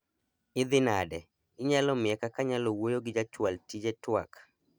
idhi nade, inyalo miya kaka anyalo wuoyo gi jachwal tije twak